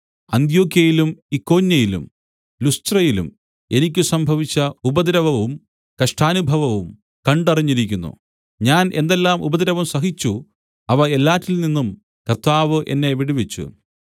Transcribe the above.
അന്ത്യൊക്യയിലും ഇക്കോന്യയിലും ലുസ്ത്രയിലും എനിക്ക് സംഭവിച്ച ഉപദ്രവവും കഷ്ടാനുഭവവും കണ്ടറിഞ്ഞിരിക്കുന്നു ഞാൻ എന്തെല്ലാം ഉപദ്രവം സഹിച്ചു അവ എല്ലാറ്റിൽ നിന്നും കർത്താവ് എന്നെ വിടുവിച്ചു